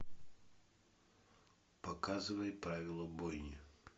показывай правила бойни